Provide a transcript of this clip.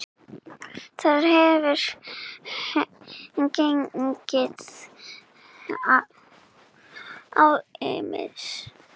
Þar hefur gengið á ýmsu.